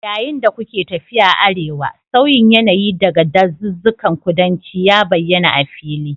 Yayin da kuke tafiya arewa, sauyin yanayi daga dazuzzukan kudanci ya bayyana a fili